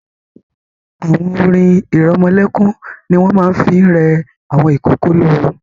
Àwọn orin-ìrọmọlẹ́kún ni wọ́n máa ń fi ń rẹ àwọn ìkókó lóórun.